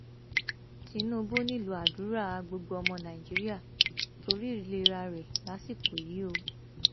tinubu nílò àdúrà gbogbo ọmọ nàìjíríà torí ìlera rẹ lásìkò yìí o